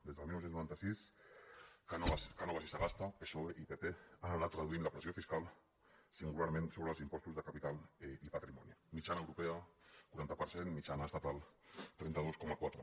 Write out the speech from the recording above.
des del dinou noranta sis cánovas i sagasta psoe i pp han anat reduint la pressió fiscal singularment sobre els impostos de capital i patrimoni mitjana europea quaranta per cent mitjana estatal trenta dos coma quatre